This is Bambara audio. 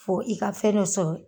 Fo i ka fɛn dɔ sɔrɔ